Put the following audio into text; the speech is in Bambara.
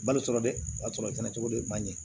Balo sɔrɔ dɛ o y'a sɔrɔ i kɛnɛ cogo de ye man ɲi